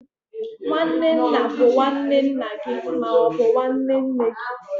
nwanne nna bụ nwanne nna gị ma ọ bụ nwanne nne gị.